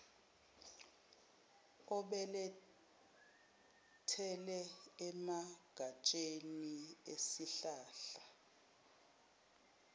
obelethele emagatsheni esihlahla